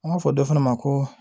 An b'a fɔ dɔ fana ma ko